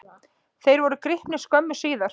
Þeir voru gripnir skömmu síðar.